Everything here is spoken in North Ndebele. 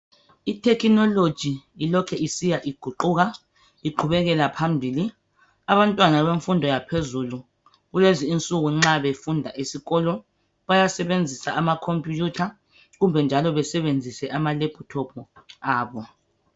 I thekhinoloji ilokhe isiya iguquka iqhubekela phambili. Abantwana bemfundo yaphezulu kulezi insuku nxa befunda esikolo, bayasebenzisa ama khompiyutha, kumbe njalo besebenzise ama lephuthophu abo.